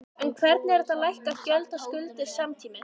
En hvernig er hægt að lækka gjöld og skuldir samtímis?